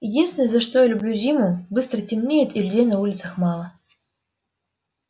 единственное за что я люблю зиму быстро темнеет и людей на улицах мало